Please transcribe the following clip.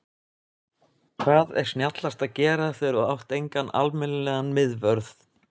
Hvað er snjallast að gera þegar þú átt engan almennilegan miðvörð?